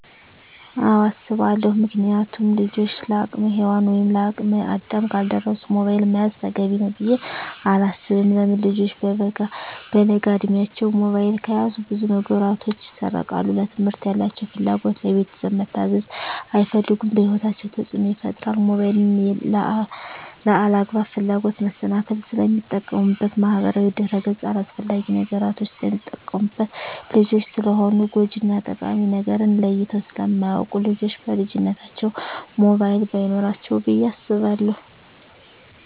አወ አሰባለው ምክንያቱም ልጆች ለአቅመ ሄዋን ወይም ለአቅመ አዳም ካልደረሱ ሞባይል መያዝ ተገቢ ነው ብዬ አላስብም። ለምን ልጆች በለጋ እድማቸው ሞባይል ከያዙ ብዙ ነገራቸው ይሰረቃል ለትምህርት ያላቸው ፍላጎት, ለቤተሰብ መታዘዝ አይፈልጉም በህይወታቸው ተፅዕኖ ይፈጥራል ሞባይልን ለአላግባብ ፍላጎት መሰናክል ስለሚጠቀሙበት በማህበራዊ ድረ-ገፅ አላስፈላጊ ነገሮች ስለሚጠቀሙበት። ልጆች ስለሆኑ ጎጅ እና ጠቃሚ ነገርን ለይተው ስለማያወቁ ልጆች በልጅነታቸው ሞባይል በይኖራቸው ብዬ አስባለሁ።